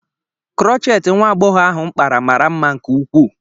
Krochet nwa agbọghọ ahụ kpara mara mma nke ukwuu.